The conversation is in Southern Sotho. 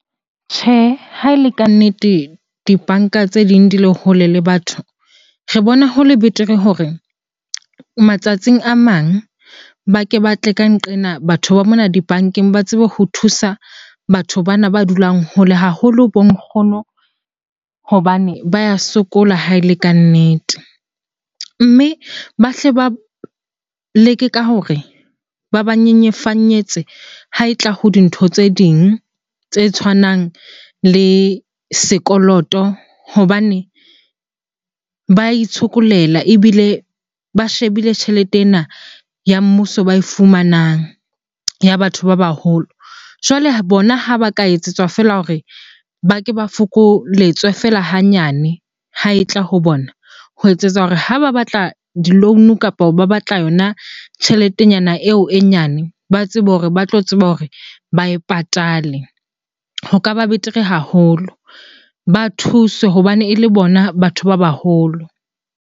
Tjhe, ha e le ka nnete dibanka tse ding di le hole le batho, re bona ho le betere hore matsatsing a mang ba ke ba tle ka nqena. Batho ba mona dibankeng ba tsebe ho thusa batho bana ba dulang hole, haholo bo nkgono hobane ba ya sokola ha e le kannete. Mme ba hle ba leke ka hore ba ba nyenyefanyetse ha e tla ho dintho tse ding tse tshwanang le sekoloto hobane ba itshokolela ebile ba shebile tjhelete ena ya mmuso ba e fumanang ya batho ba baholo. Jwale bona ha ba ka etsetswa feela hore ba ke ba fokoletswe feela hanyane ha e tla ho bona ho etsetsa hore ha ba batla di-loan-o kapa ba batla yona tjheletenyana eo e nyane, ba tsebe hore ba tlo tseba hore ba e patale. Ho ka ba betere haholo ba thuswe hobane ele bona batho ba baholo.